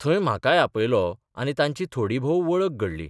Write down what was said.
थंय म्हाकाय आपयलो आनी तांची थोडीभोव वळख घडली.